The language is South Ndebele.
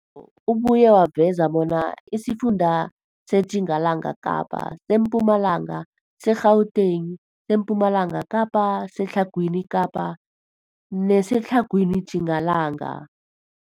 Umbiko ubuye waveza bona isifunda seTjingalanga Kapa, seMpumalanga, seGauteng, sePumalanga Kapa, seTlhagwini Kapa neseTlhagwini Tjingalanga.